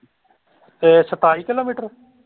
ਇਹ ਸਤਾਈ ਕਿਲੋਮੀਟਰ।